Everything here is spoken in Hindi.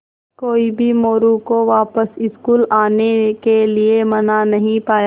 कोई भी मोरू को वापस स्कूल आने के लिये मना नहीं पाया